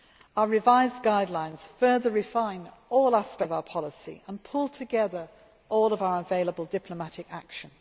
Our revised guidelines further refine all aspects of our policy and pull together all of our available diplomatic action.